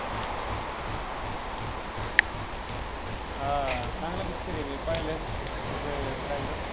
हां चांगला picture आहे मी पाहीलाय त्याचा trailor